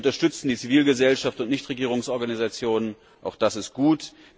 Wir unterstützen die Zivilgesellschaft und Nichtregierungsorganisationen auch das ist gut.